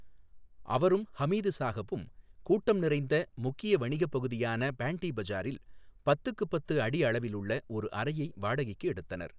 அவரும் ஹமீது சாஹபும் கூட்டம் நிறைந்த முக்கிய வணிகப் பகுதியான பேண்டி பஜாரில் பத்துக்குப் பத்து அடி அளவிலுள்ள ஒரு அறையை வாடகைக்கு எடுத்தனர்.